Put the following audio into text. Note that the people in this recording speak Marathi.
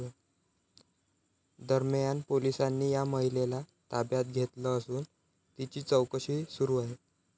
दरम्यान, पोलिसांनी या महिलेला ताब्यात घेतलं असून तिची चौकशी सुरू आहे.